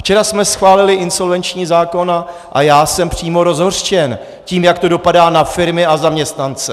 Včera jsme schválili insolvenční zákon a já jsem přímo rozhořčen tím, jak to dopadá na firmy a zaměstnance.